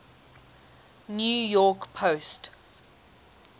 new york post